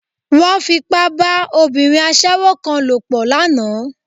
Wọ́n Fipá bá obìnrin aṣẹ́wó kan lòpọ̀ lánàá